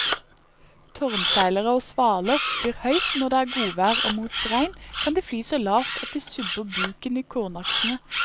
Tårnseilere og svaler flyr høyt når det er godvær og mot regn kan de fly så lavt at de subber buken i kornaksene.